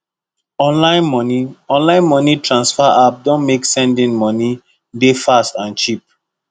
online money online money transfer app don make sending money dey fast and cheap